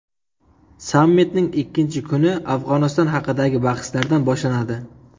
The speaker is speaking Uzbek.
Sammitning ikkinchi kuni Afg‘oniston haqidagi bahslardan boshlanadi.